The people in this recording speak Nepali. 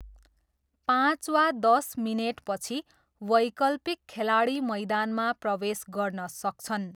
पाँच वा दस मिनेटपछि वैकल्पिक खेलाडी मैदानमा प्रवेश गर्न सक्छन्।